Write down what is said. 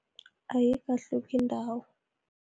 Ayikahluki ndawo.